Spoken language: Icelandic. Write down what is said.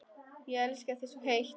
Ég elska þig svo heitt.